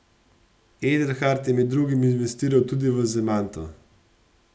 Edelhart je med drugim investiral tudi v Zemanto.